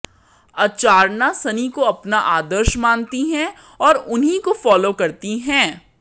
अर्चाना सनी को अपना आदर्श मानती हैं और उन्हीं को फॉलो करती हैं